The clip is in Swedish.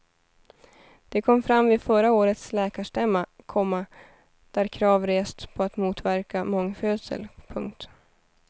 Det kom fram vid förra årets läkarstämma, komma där krav restes på att motverka mångfödsel. punkt